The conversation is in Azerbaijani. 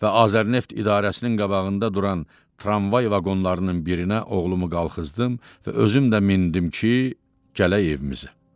Və Azərneft idarəsinin qabağında duran tramvay vaqonlarının birinə oğlumu qalxızdım və özüm də mindim ki, gələk evimizə.